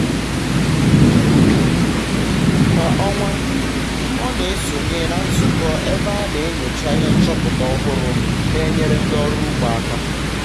kwa ọnwa ọ na-esonye na nzụkọ ebe a na-enyocha ihe nchọpụta ọhụrụ na-enyer ndị ọrụ ugbo aka